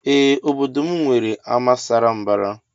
Ee obodo mụ nwere ama sara mbara.